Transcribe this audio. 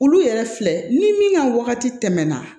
Olu yɛrɛ filɛ ni min ka wagati tɛmɛna